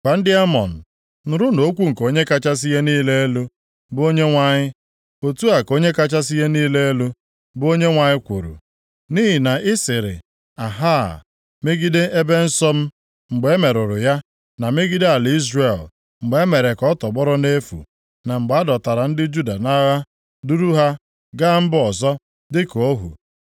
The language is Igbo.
Gwa ndị Amọn, ‘Nụrụnụ okwu nke Onye kachasị ihe niile elu, bụ Onyenwe anyị. Otu a ka Onye kachasị ihe niile elu, bụ Onyenwe anyị kwuru: Nʼihi na ị sịrị “Aha!” megide ebe nsọ m mgbe e merụrụ ya na megide ala Izrel, mgbe e mere ka ọ tọgbọrọ nʼefu, na mgbe a dọtara ndị Juda nʼagha duru ha gaa mba ọzọ dịka ohu,